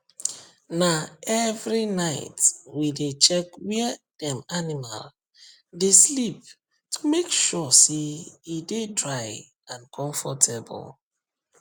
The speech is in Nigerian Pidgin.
na every night we dey check where dem animal dey sleep to make sure say e dey dry and comfortable